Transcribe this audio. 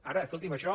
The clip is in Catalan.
ara escolti’m això